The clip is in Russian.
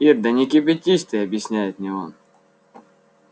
ир да не кипятись ты объясняет мне он